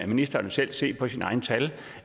ministeren jo selv se på sine egne tal